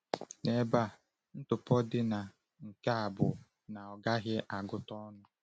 N’ebe a, ntụpọ dị na nke a bụ na ọ gaghị agụta ọnụ.